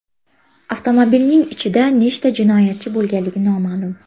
Avtomobilning ichida nechta jinoyatchi bo‘lganligi noma’lum.